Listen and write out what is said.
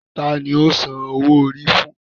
Ta ni o san owó orí fún?